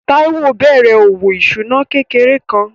Táíwò bẹ̀rẹ̀ òwò ìṣúná kékeré kan